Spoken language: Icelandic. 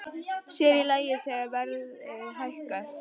Sér í lagi þegar verðið hækkaði.